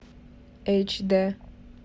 эйч дэ